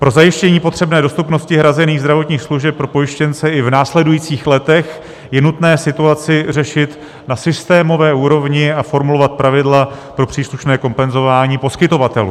Pro zajištění potřebné dostupnosti hrazených zdravotních služeb pro pojištěnce i v následujících letech je nutné situaci řešit na systémové úrovni a formulovat pravidla pro příslušné kompenzování poskytovatelů.